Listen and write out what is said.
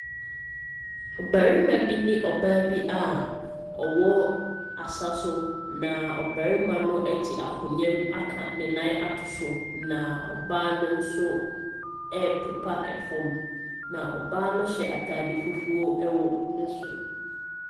Barima bi ne ɔbaa bi a wɔwɔ asaso, na ɔbarima no te akonnwa mu aka ne nan ato so na ɔbaa no nso ɛrepepa fam, na ɔbaa no hyɛ ataade fufuo wɔ ne soro.